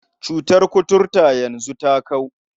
Cutar kuturta yanzu ta kau.